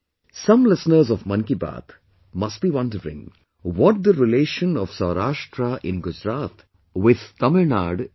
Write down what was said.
Some listeners of 'Mann Ki Baat' must be wondering, what the relation of Saurashtra in Gujarat with Tamil Nadu is